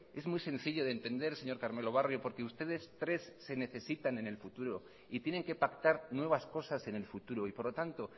es muy sencillo de entender señor carmelo barrio porque ustedes tres se necesitan en el futuro y tienen que pactar nuevas cosas en el futuro y por lo tanto